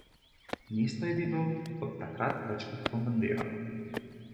Mesto je bilo od takrat večkrat bombardirano.